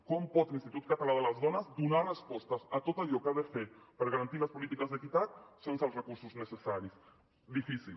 com pot l’institut català de les dones donar respostes a tot allò que ha de fer per garantir les polítiques d’equitat sense els recursos necessaris difícil